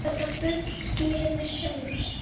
Þetta bull skýrir sig sjálft.